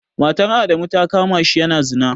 Matar Adamu ta kama shi yana zina.